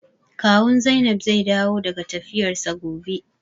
Kawun Zainab zai dawo daga tafiyarsa gobe.